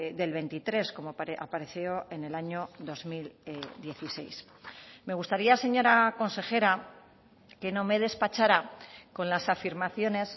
del veintitrés como apareció en el año dos mil dieciséis me gustaría señora consejera que no me despachara con las afirmaciones